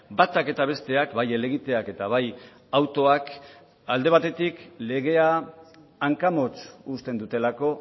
batak eta besteak bai helegiteak eta baita autoak ere alde batetik legea hankamotz uzten dutelako